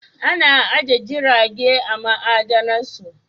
Ana ajiye jirage a ma'adamarsu